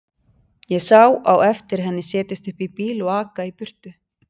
Ég sá á eftir henni setjast upp í bíl og aka í burtu.